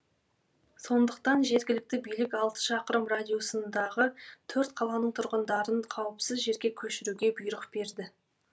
сондықтан жергілікті билік алты шақырым радиусындағы төрт қаланың тұрғындарын қауіпсіз жерге көшіруге бұйрық берді